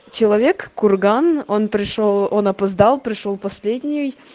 человек курган он пришёл он опоздал пришёл последний